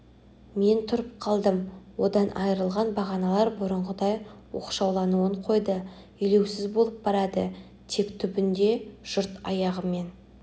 мен тұрып қалдым одан айрылған бағаналар бұрынғыдай оқшаулануын қойды елеусіз болып барады тек түбінде жұрт аяғымен